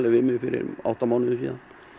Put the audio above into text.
við mig fyrir um átta mánuðum síðan